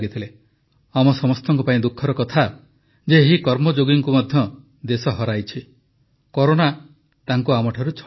ଆମ ସମସ୍ତଙ୍କ ପାଇଁ ଦୁଃଖର କଥା ଯେ ଏହି କର୍ମଯୋଗୀଙ୍କୁ ମଧ୍ୟ ଦେଶ ହରାଇଛି କରୋନା ତାଙ୍କୁ ଆମଠାରୁ ଛଡ଼ାଇ ନେଇଛି